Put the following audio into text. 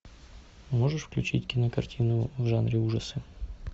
можешь включить кинокартину в жанре ужасы